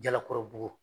Jalakɔrɔbugu